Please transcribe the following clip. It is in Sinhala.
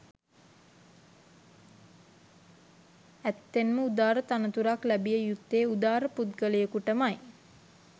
ඇත්තෙන්ම උදාර තනතුරක් ලැබිය යුත්තේ උදාර පුද්ගලයකුටමයි.